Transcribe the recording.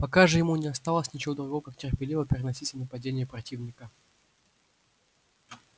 пока же ему не оставалось ничего другого как терпеливо переносить все нападения противника